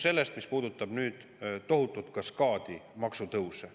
Küsimus, mis puudutab tohutut kaskaadi maksutõuse.